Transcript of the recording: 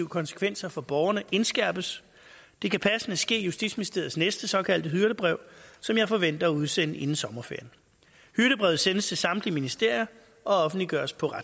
konsekvenser for borgerne indskærpes det kan passende ske i justitsministeriets næste såkaldte hyrdebrev som jeg forventer at udsende inden sommerferien hyrdebrevet sendes til samtlige ministerier og offentliggøres på